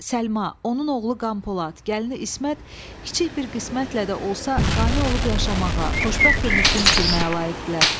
Səlma, onun oğlu Qan Polad, gəlini İsmət kiçik bir qismətlə də olsa, qane olub yaşamağa, xoşbəxt ömür gün sürməyə layiqdirlər.